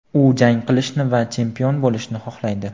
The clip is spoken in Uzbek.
U jang qilishni va chempion bo‘lishni xohlaydi.